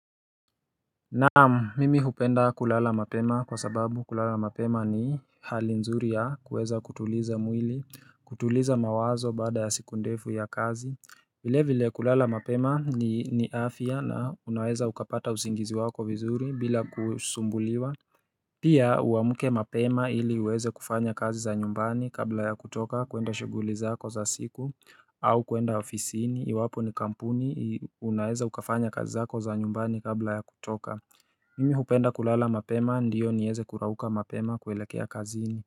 Naamu mimi hupenda kulala mapema kwa sababu kulala mapema ni hali nzuri ya kuweza kutuliza mwili kutuliza mawazo bada ya sikundevu ya kazi vile vile kulala mapema ni afya na unaweza ukapata usingizi wako vizuri bila kusumbuliwa Pia uamke mapema ili uweze kufanya kazi za nyumbani kabla ya kutoka kuenda shuguli zako za siku au kuenda ofisiini, iwapo ni kampuni, unaeza ukafanya kazi zako za nyumbani kabla ya kutoka Mimi hupenda kulala mapema, ndiyo nieze kurauka mapema kuelekea kaziini.